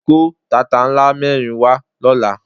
Kó tata ńlá mẹ́rin wá lọ́la.